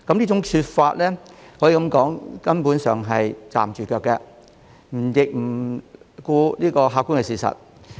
這些說法可說是站不住腳，亦不顧客觀事實。